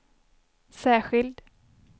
särskild